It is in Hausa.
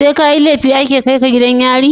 SE kayi lefi ake kaika gidan yari?